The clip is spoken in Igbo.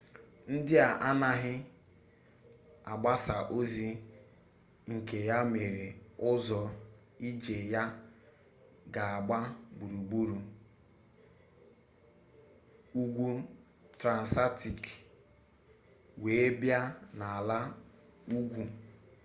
ndị a anaghị agbasi ọsọ ike ya mere ụzọ ije ya ga agba gburugburu ugwu transatik wee bịa na ala ugwu